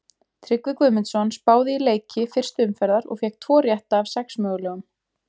Tryggvi Guðmundsson spáði í leiki fyrstu umferðar og fékk tvo rétta af sex mögulegum.